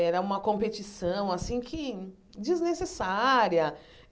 Era uma competição, assim que, desnecessária.